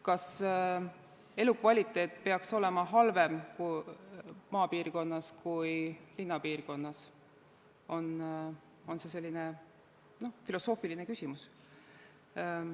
Kas elukvaliteet peaks olema halvem maapiirkonnas kui linnapiirkonnas, see on filosoofiline küsimus.